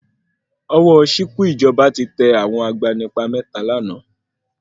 Ọwọ́ ṣìkún ìjọba tẹ àwọn agbanipa mẹ́ta lánàá.